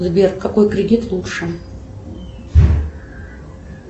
сбер какой кредит лучше